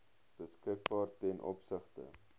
beskikbaar ten opsigte